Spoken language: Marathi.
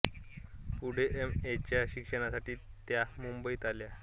पुढे एम ए च्या शिक्षणासाठी त्या मुंबईत आल्या